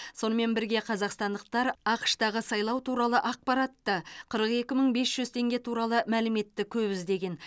сонымен бірге қазақстандықтар ақш тағы сайлау туралы ақпаратты қырық екі мың бес жүз теңге туралы мәліметті көп іздеген